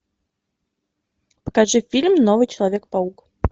покажи фильм новый человек паук